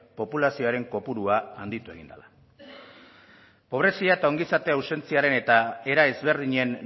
populazioaren kopurua handitu egin da pobrezia eta ongizatea ausentziaren eta era ezberdinen